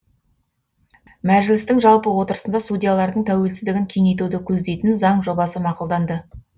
мәжілістің жалпы отырысында судьялардың тәуелсіздігін кеңейтуді көздейтін заң жобасы мақұлданды